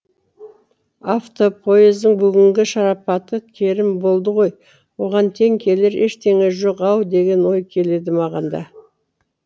автопоездың бүгінгі шарапаты керім болды ғой оған тең келер ештеңе жоқ ау деген ой келеді маған да